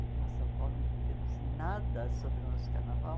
Aqui em São Paulo não temos nada sobre o nosso carnaval.